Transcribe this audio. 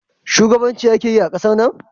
Shugabanci ake yi a ƙasar nan?